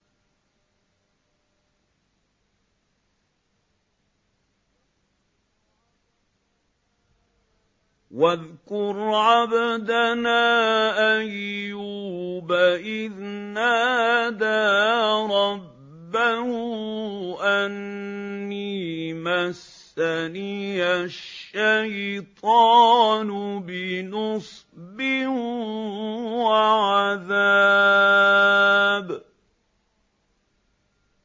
وَاذْكُرْ عَبْدَنَا أَيُّوبَ إِذْ نَادَىٰ رَبَّهُ أَنِّي مَسَّنِيَ الشَّيْطَانُ بِنُصْبٍ وَعَذَابٍ